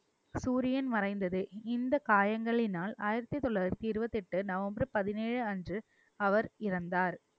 சூரியன் மறைந்தது இந்த காயங்களினால் ஆயிரத்தி தொள்ளாயிரத்தி இருவத்தி எட்டு நவம்பர் பதினேழு அன்று அவர் இறந்தார்